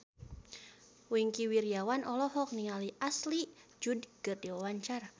Wingky Wiryawan olohok ningali Ashley Judd keur diwawancara